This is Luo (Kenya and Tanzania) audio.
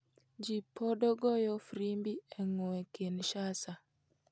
Ji podo goyo frimbi e gweng Kinshasa.